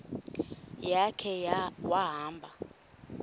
ya khe wahamba